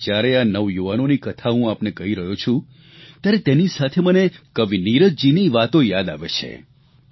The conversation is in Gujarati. અને જયારે આ નવયુવાનોની કથા હું આપને કહી રહ્યો છું ત્યારે તેની સાથે મને કવિ નીરજજીની વાતો યાદ આવે છે